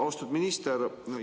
Austatud minister!